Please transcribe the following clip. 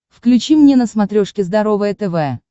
включи мне на смотрешке здоровое тв